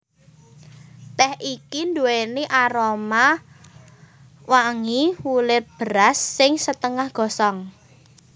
Tèh iki nduwèni aroma wangi wulir beras sing setengah gosong